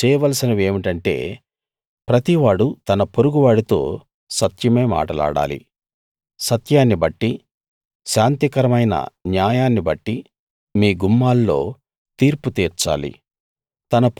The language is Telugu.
మీరు చేయవలసిన వేమిటంటే ప్రతివాడూ తన పొరుగు వాడితో సత్యమే మాటలాడాలి సత్యాన్ని బట్టి శాంతికరమైన న్యాయాన్నిబట్టి మీ గుమ్మాల్లో తీర్పు తీర్చాలి